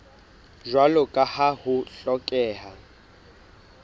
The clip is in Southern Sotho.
jwalo ka ha ho hlokeha